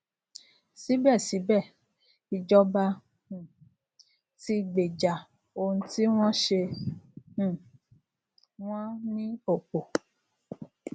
sibesibe ìjọba um tí gbeja ohun tí wọn ṣe um wọn ní opo